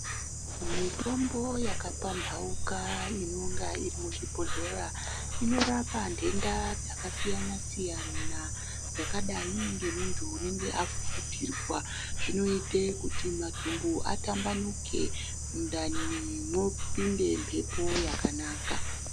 Mitombo yakapambauka inenge iri muchibhohleya inorapa ndenda dzakasiyana siyana dzakadai nemuntu anenge afufutirwa zvinoita kuti matumbu atambanuke mundani mombinda mhepo yakanaka.